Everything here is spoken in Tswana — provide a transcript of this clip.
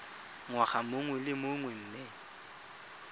ngwaga mongwe le mongwe mme